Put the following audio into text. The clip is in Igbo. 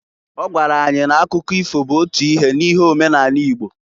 Ọ gwara anyị na-akụkọ ifo bụ otu ife n'ihe omenani Igbo.